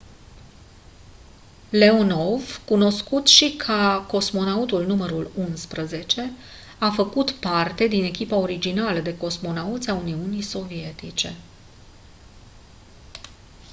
leonov cunoscut și ca «cosmonautul nr. 11» a făcut parte din echipa originală de cosmonauți a uniunii sovietice.